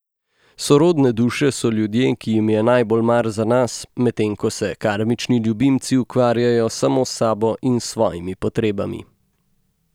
Sorodne duše so ljudje, ki jim je najbolj mar za nas, medtem ko se karmični ljubimci ukvarjajo samo s sabo in svojimi potrebami.